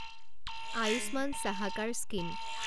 Ayushman Sahakar scheme